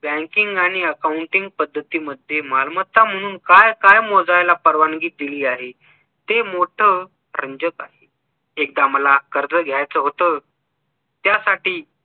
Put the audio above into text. banking आणि accounting पद्धतीमध्ये मालमत्ता म्हणून काय काय मोजयला परवानगी दिली आहे. ते मोठं रंजककारी. एकदा मला कर्ज घ्यायचं होत त्यासाठी